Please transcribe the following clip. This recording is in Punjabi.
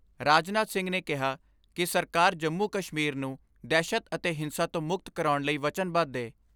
ਰਾਜਨਾਥ ਸਿੰਘ ਨੇ ਕਿਹਾ ਕਿ ਸਰਕਾਰ ਜੰਮੂ ਕਸ਼ਮੀਰ ਨੂੰ ਦਹਿਸ਼ਤ ਅਤੇ ਹਿੰਸਾ ਤੋਂ ਮੁਕਤ ਕਰਾਉਣ ਲਈ ਵਚਨਬੱਧ ਏ।